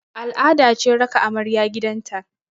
Al'ada ce raka amarya gidan ta